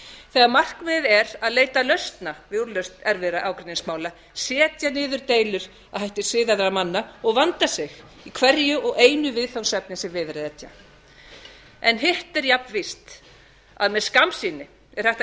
þegar markmiðið er að leita lausna við úrlausn erfiðra ágreiningsmála setja niður deilur að hætti siðaðra manna og vanda sig í hverju og einu viðfangsefni sem við er að etja hitt er jafnvíst að með skammsýni er hægt að